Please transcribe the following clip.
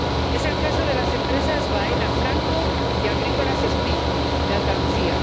Es el caso de las empresas Baena Franco y Agrícola Espino, de Andalucía.